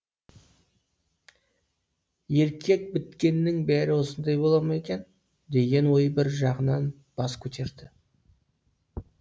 еркек біткеннің бәрі осындай бола ма екен деген ой бір жағынан бас көтерді